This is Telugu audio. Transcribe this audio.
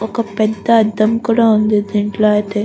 ఒక పెద్ద అద్దం కూడా ఉంది దీంట్లో అయితే.